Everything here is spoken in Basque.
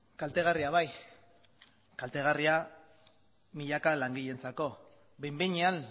kaltegarria bai kaltegarria milaka langileentzako behin behinean